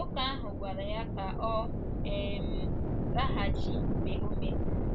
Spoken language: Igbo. Nwoke ahụ gwara ya ka ọ um laghachi mgbe ọ mesịrị.